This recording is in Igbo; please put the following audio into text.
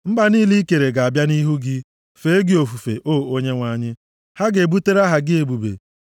Mba niile i kere ga-abịa nʼihu gị, fee gị ofufe, O Onyenwe anyị; ha ga-ebutere aha gị ebube.